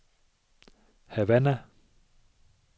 Havana